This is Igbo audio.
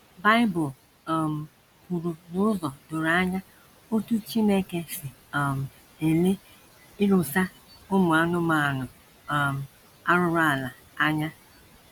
Bible um kwuru n’ụzọ doro anya otú Chineke si um ele ịrụsa ụmụ anụmanụ um arụrụala anya.